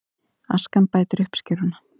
Askan bætir uppskeruna